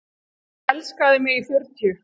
Hann elskaði mig í fjörutíu.